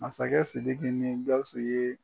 Masakɛ sidiki ni gawusu ye